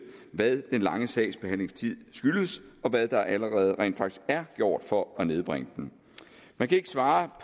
hvad den lange sagsbehandlingstid skyldes og hvad der allerede er gjort for at nedbringe den der kan ikke svares